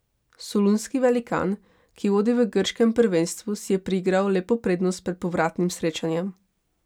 Solunski velikan, ki vodi v grškem prvenstvu, si je priigral lepo prednost pred povratnim srečanjem.